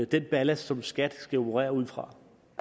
den ballast som skat skal operere udfra